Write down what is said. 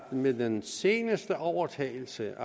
med den seneste overtagelse